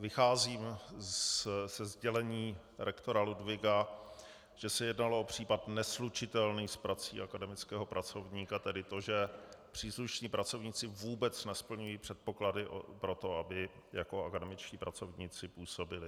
Vycházím ze sdělení rektora Ludwiga, že se jednalo o případ neslučitelný s prací akademického pracovníka, tedy to, že příslušní pracovníci vůbec nesplňují předpoklady pro to, aby jako akademičtí pracovníci působili.